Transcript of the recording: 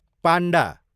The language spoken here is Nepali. पान्डा